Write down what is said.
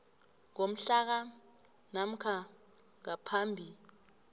ngomhlaka namkha ngaphambi